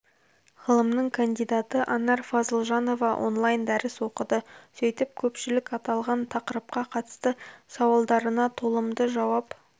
ғылымының кандидаты анар фазылжанова онлайн дәріс оқыды сөйтіп көпшілік аталған тақырыпқа қатысты сауалдарына толымды жауап